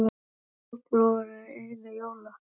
Þessar úlpur voru einu jóla- og afmælisgjafirnar sem þeir fengu.